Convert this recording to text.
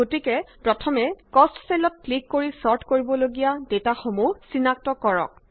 গতিকে প্ৰথমে কষ্ট চেলত ক্লিক কৰি ছৰ্ট কৰিব লগীয়া ডেটাসমূ চিনাক্তট কৰক